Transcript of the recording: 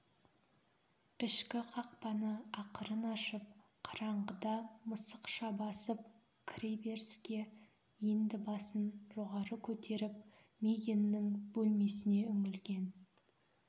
ішкі қақпаны ақырын ашып қараңғыда мысықша басып кіре беріске енді басын жоғары көтеріп мигэннің бөлмесіне үңілген